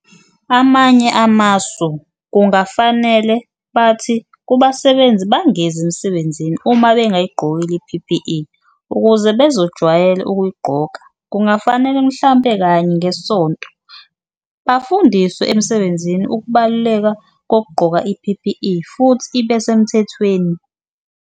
Amanye amasu kungafanele bathi kubasebenzi bangezi emsebenzini uma bengayigqokile i-P_P_E ukuze bezojwayela ukuyigqoka, kungafanele mhlampe kanye ngesonto bafundiswe emsebenzini ukubaluleka kokugqoka i-P_P_E futhi ibesemthethweni.